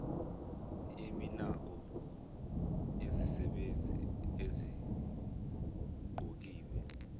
yeminako yezisebenzi eziqokiwe